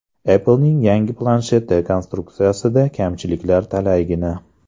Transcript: Apple’ning yangi plansheti konstruksiyasida kamchiliklar talaygina.